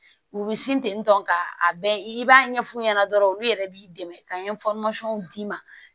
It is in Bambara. U bɛ sin ten tɔ ka a bɛ i b'a ɲɛf'u ɲɛna dɔrɔn olu yɛrɛ b'i dɛmɛ ka d'i ma